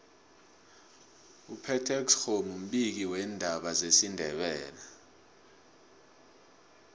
upetex kgomu mbiki ndaba wesindebele